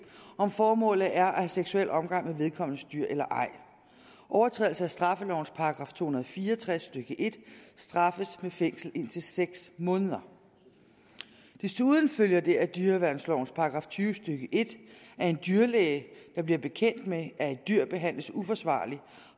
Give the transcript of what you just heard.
om formålet er at have seksuel omgang med vedkommendes dyr eller ej overtrædelse af straffelovens § to hundrede og fire og tres stykke en straffes med fængsel indtil seks måneder desuden følger det af dyreværnslovens § tyve stykke en at en dyrlæge der bliver bekendt med at et dyr behandles uforsvarligt